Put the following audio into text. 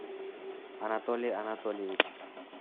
анатолий анатольевич